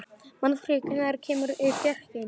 Magnfríður, hvenær kemur fjarkinn?